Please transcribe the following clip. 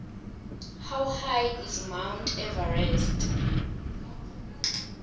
how high is mount everest